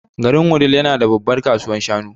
Garin Wudil yana da babbar kasuwar shanu.